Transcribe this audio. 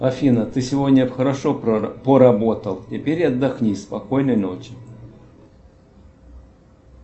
афина ты сегодня хорошо поработал теперь отдохни спокойной ночи